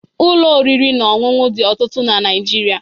Ụlọ oriri na ọṅụṅụ dị ọtụtụ na Naịjirịa